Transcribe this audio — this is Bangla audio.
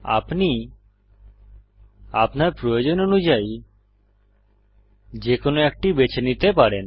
আপনি আপনার প্রয়োজন অনুযায়ী যে কোনো একটি বেছে নিতে পারেন